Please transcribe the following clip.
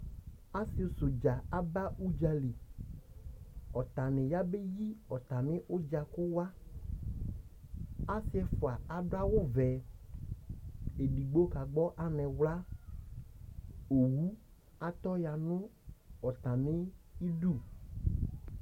alʋvidini kanaɔlʋ atani alʋ NA nɛlʋ udunudidu atamidu NA dibidu ɛfuɛ